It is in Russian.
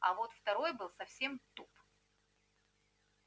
а вот второй был совсем туп